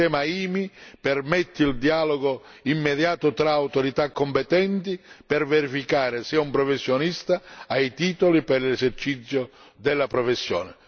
Il sistema IMI permette il dialogo immediato tra autorità competenti per verificare se un professionista ha i titoli per l'esercizio della professione.